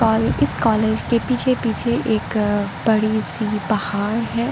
और इस कॉलेज के पीछे पीछे एक अ बड़ी सी पहाड़ है।